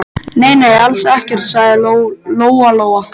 Nei, nei, alls ekkert, sagði Lóa-Lóa.